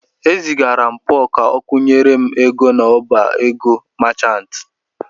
E zigara m Pọl ka o kwụnyere m ego n'ọbá ego machantị.